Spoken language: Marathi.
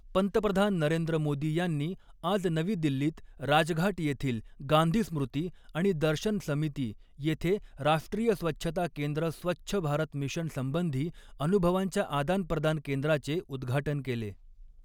पंतप्रधान नरेंद्र मोदी यांनी आज नवी दिल्लीत राजघाट येथील गांधी स्मृती आणि दर्शन समिती येथे राष्ट्रीय स्वच्छता केंद्र स्वच्छ भारत मिशनसंबंधी अनुभवांच्या आदानप्रदान केंद्राचे उद्घाटन केले.